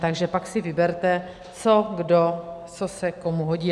Takže pak si vyberte, co kdo, co se komu hodí.